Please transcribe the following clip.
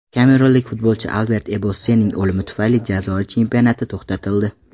Kamerunlik futbolchi Albert Ebossening o‘limi tufayli Jazoir chempionati to‘xtatildi.